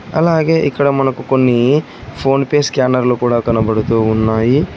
అలాగే ఇక్కడ మనకు కొన్ని ఫోన్ పే స్కానర్లు కూడా కనబడుతూ ఉన్నాయి.